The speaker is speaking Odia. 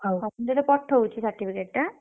ହଉ ମୁଁ ତତେ ପଠଉଛି certificate ଟା ଆଁ?